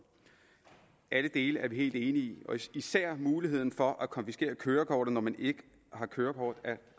alle dele er vi helt enige i især er muligheden for at konfiskere køretøjet når man ikke har kørekort